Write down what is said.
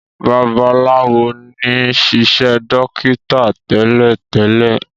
Babalawo ní sisé dókítà télètélè.